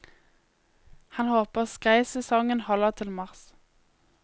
Han håper skreisesongen holder til mars.